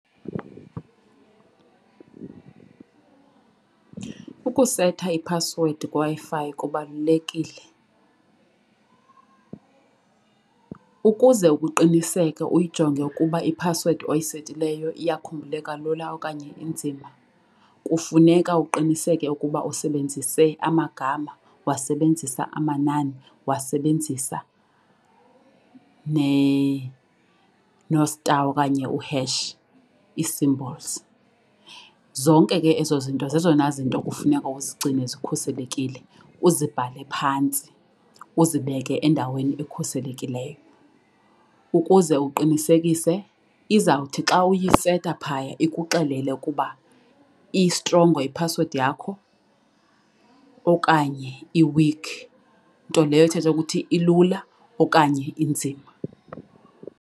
Ukuseta iphasiwedi kwiWi-Fi kubalulekile. Ukuze ukuqiniseke uyijonge ukuba iphasiwedi oyisetileyo iyakhumbuleka lula okanye inzima kufuneka uqiniseke ukuba usebenzise amagama, wasebenzisa amanani, wasebenzisa no-star okanye uheshi i-symbols. Zonke ke ezo zinto zezona zinto kufuneka uzigcine zikhuselekile uzibhale phantsi, uzibeke endaweni ekhuselekileyo ukuze uqinisekise izawuthi xa uyiseta phaya ikuxelele ukuba istrongo iphasiwedi yakho okanye iwikhi, nto leyo ithetha ukuthi ilula okanye inzima.